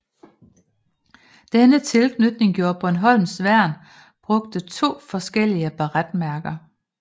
Denne tilknytning gjorde at Bornholms Værn brugte to forskellige baretmærker